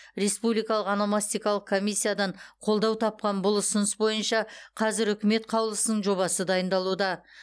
республикалық ономастикалық комиссиядан қолдау тапқан бұл ұсыныс бойынша қазір үкімет қаулысының жобасы дайындалуда